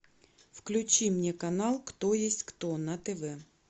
включи мне канал кто есть кто на тв